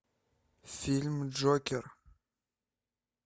фильм джокер